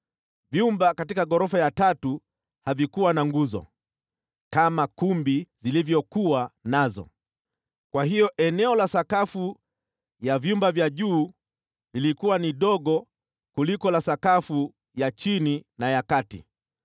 Vyumba katika ghorofa ya tatu havikuwa na nguzo, kama kumbi zilivyokuwa nazo, kwa hiyo eneo la sakafu ya vyumba vya juu lilikuwa ni dogo kuliko la sakafu ya chini na ya kati.